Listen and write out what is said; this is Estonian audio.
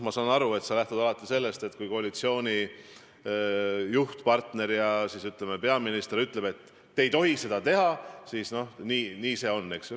Ma saan aru, et sa lähtud alati sellest, et kui koalitsiooni juhtpartner ja, ütleme, peaminister ütlevad, et te ei tohi seda teha, siis nii see on, eks ju.